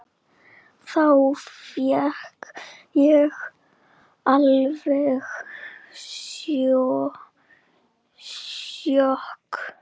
Þá fékk ég alveg sjokk.